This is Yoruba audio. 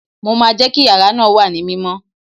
Mo máa jẹ́ kí yàrá náà wà ní mímọ́